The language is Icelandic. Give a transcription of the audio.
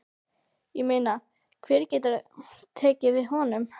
Ég meina hver getur tekið við honum?